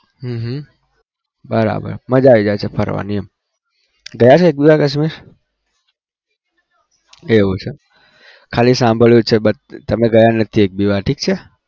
હમ હમ બરાબર મજા આવી જાય છે ફરવાની એમ ગયા છે એક બી વાર કાશમીર? એવું છે ખાલી સાંભળ્યું છે but તમે ગયા નથી એક બી વાર ઠીક છે.